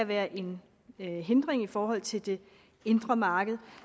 være en en hindring i forhold til det indre marked